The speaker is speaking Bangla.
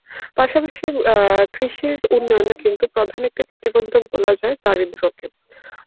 পাশাপাশি অ্যাঁ কৃষির উন্নয়নে কিন্তু প্রধান একটি প্রতিবন্ধক বলা যায় দারিদ্র্য কে.